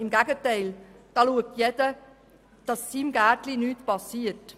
Im Gegenteil: Jeder schaut, dass seinem Gärtchen nichts passiert.